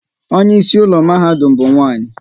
Onye isi ụlọ mahadum ha bụ nwanyị